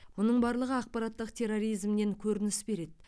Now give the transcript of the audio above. мұның барлығы ақпараттық терроризмнен көрініс береді